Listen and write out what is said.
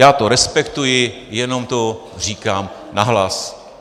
Já to respektuji, jenom to říkám nahlas.